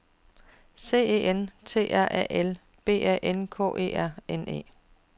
C E N T R A L B A N K E R N E